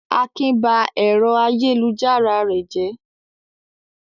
Akin ba ẹ̀rọ ayélujára rẹ̀ jẹ́.